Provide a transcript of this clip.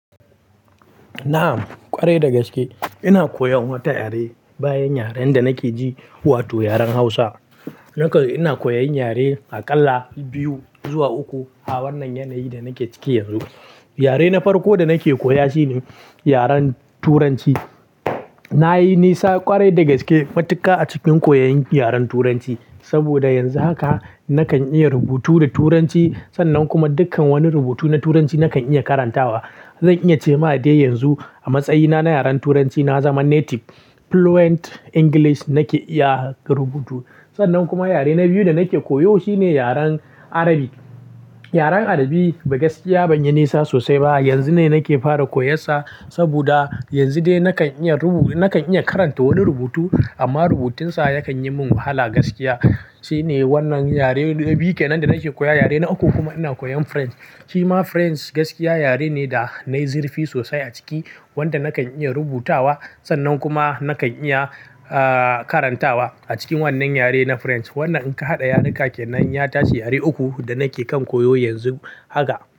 Na'am kwarai da gaske. Ina koyan wata yare bayan yaren da nake ji, wato yaren Hausa. Naka ina koyan yare a ƙalla bibbiyu zuwa uku a wannan yanayi da nake ciki yanzu. Yare na farko da nake koya shine yaren Turanci. Na yi nisa kwarai da gaske matuƙa a cikin koyon yaren Turanci. Saboda yanzu haka nakan iya rubutu da Turanci. Sannan kuma dukkan wani rubutu na Turanci nakan iya karantawa. Zan iya ce ma de yanzu a matsayina na yaren Turanci na zama native. Fluent English nake iya rubutu. Sannan kuma yare na biyu da nake koyo shine yaren Arabi. Yaren Arabi da gaskiya ban yi nisa sosai ba. Yanzu ne nake fara koyansa. Saboda yanzu dai nakan iya rubu-- nakan iya karanta wani rubutu amma rubutunsa yakan yi min wahala gaskiya. Shine wannan yare na biyu kenan da nake koya. Yare na uku kuma ina koyan French. Shima French gaskiya yare ne da nayi zurfi sosai a ciki wanda nakan iya rubutawa. Sannan kuma nakan iya, ah, karantawa. A cikin wannan yare na French, wannan in ka haɗa yarinka kenan, ya tashi yare uku da nake kan koyo yanzu haka.